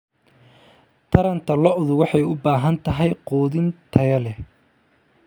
Taranta lo'du waxay u baahan tahay quudin tayo leh.